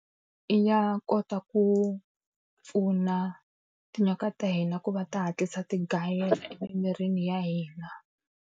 ya kota ku pfuna tinyoka ta hina ku va ta ti hatlisa ti gayela emimirini ya hina.